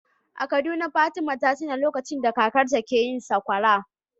A Kaduna Fatima ta tuno lokacin da kakarta ke yin sakwara.